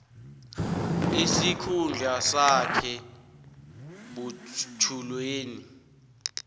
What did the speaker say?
isikhundla sakhe butjhwileni